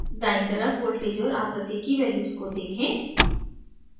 दायीं तरफ voltage और आवृत्ति की values को देखें